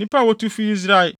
Nnipa a wotu fii Israel